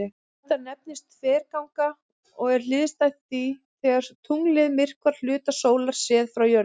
Þetta nefnist þverganga og er hliðstætt því þegar tunglið myrkvar hluta sólar séð frá jörðu.